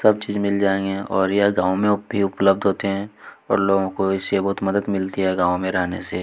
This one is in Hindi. सब चीज मिल जाएंगे और यह गांव में भी उपलब्ध होता है और लोगों को इससे बहुत मदद मिलती है गांव में रहने से।